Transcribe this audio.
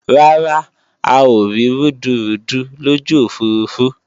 Rárá,a ò rí rúdurùdu lójú òfurufú